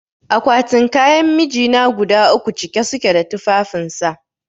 Akwatin kayan mijina guda uku cike suke da tufafin sa